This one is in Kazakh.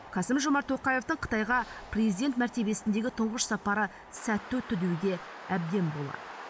қасым жомарт тоқаевтың қытайға президент мәртебесіндегі тұңғыш сапары сәтті өтті деуге әбден болады